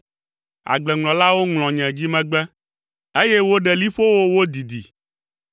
Agbleŋlɔlawo ŋlɔ nye dzimegbe, eye woɖe boliƒowo wodidi,